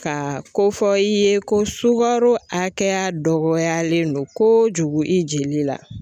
Ka kofɔ i ye ko sukaro hakɛya dɔgɔyalen don koojugu i jeli la